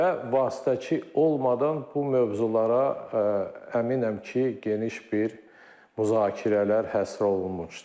Və vasitəçi olmadan bu mövzulara əminəm ki, geniş bir müzakirələr həsr olunmuşdu.